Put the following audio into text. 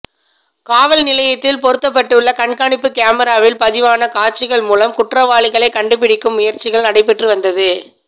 காவல்நிலையத்தில் பொருத்தப்பட்டுள்ள கண்காணிப்பு கேமிராவில் பதிவான காட்சிகள் மூலம் குற்றவாளிகளை கண்டுபிடிக்கும் முயற்சிகள் நடைபெற்று வந்தது